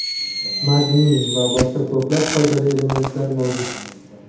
magniy va boshqa ko‘plab foydali elementlar mavjud.